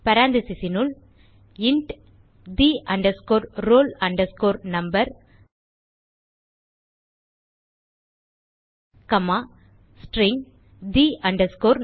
parenthesisனுள் int the roll number comma string the name